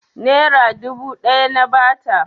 Nera dubu ɗaya na ba ta.